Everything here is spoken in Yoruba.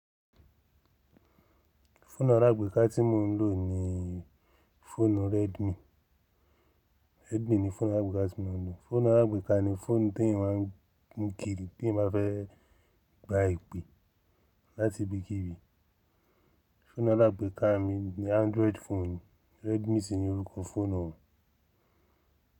Fóònù alágbèéká tí mò ń lò ni fónù Redmi. Redmi ni fónù alágbèéká tí mò ń lò. Fóònù alágbèéká ni fónù tí ìwá ń mú kiri tí ì bá fẹ́ gba ìpè láti ibikíbi. Fóònù alágbèéká mi ni Android phone. Redmi sì ni orúkọ fónù náà.